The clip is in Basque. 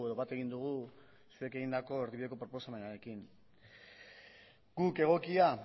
bat egin dugu zuek egindako erdibideko proposamenarekin guk egokia